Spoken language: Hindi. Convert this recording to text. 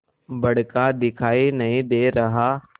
बड़का दिखाई नहीं दे रहा